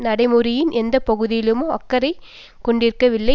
நடைமுறையின் எந்த பகுதியிலுமோ அக்கறை கொண்டிருக்கவில்லை